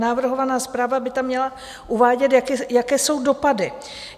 Navrhovaná zpráva by tam měla uvádět, jaké jsou dopady.